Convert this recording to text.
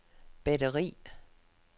batteri